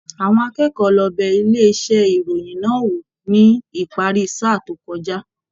Àwọn akẹ́kọ̀ọ́ lọ bẹ ilé iṣẹ ìròyìn náà wò ní ìparí sáà to kọjá.